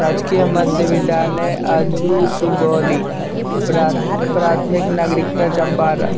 राजकीय मध्य विद्यालय आजू सुगोली प्राथ प्राथमिक नागरिकता चंपारन --